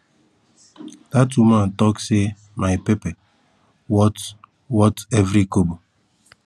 that woman talk say my pepper worth worth every kobo